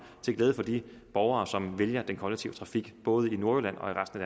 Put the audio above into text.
til glæde for de borgere som vælger den kollektive trafik både i nordjylland